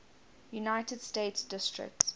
united states district